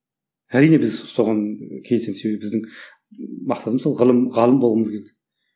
әрине біз соған келісеміз себебі біздің мақсатымыз сол ғылым ғалым болғымыз келді